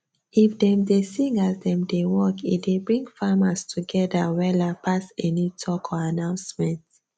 if dem dey sing as dem dey work e dey bring farmers togetther wella pass any talk or announcement